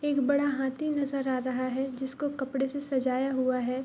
एक बड़ा हाथी नजर आ रहा है जिसको कपड़े से सजाया हुआ है।